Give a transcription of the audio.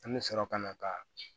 An bɛ sɔrɔ ka na ka